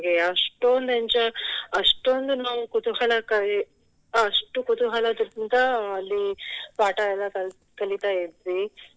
ಅಷ್ಟೊಂದು enjo~ ಅಷ್ಟೊಂದು ನಾವು ಕುತೂಹಲ ಕ~ ಅಷ್ಟು ಕುತೂಹಲದಿಂದ ಅಲ್ಲಿ ಪಾಠ ಎಲ್ಲ ಕಲಿತ್~ ಕಲಿತಾ ಇದ್ವಿ.